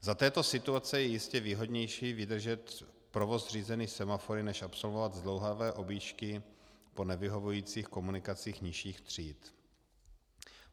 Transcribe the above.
Za této situace je jistě výhodnější vydržet provoz řízený semafory než absolvovat zdlouhavé objížďky po nevyhovujících komunikacích nižších tříd.